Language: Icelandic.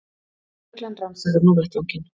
Lögreglan rannsakar nú vettvanginn